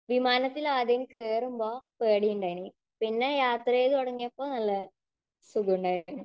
വിമാനത്തിൽ ആദ്യം കേറുമ്പോൾ പേടിയുണ്ടായനി. പിന്നെ യാത്ര ചെയ്ത് തുടങ്ങിയപ്പോൾ നല്ല സുഖമുണ്ടായിരുന്നു.